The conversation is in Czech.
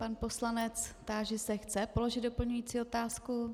Pan poslanec - táži se, chce položit doplňující otázku.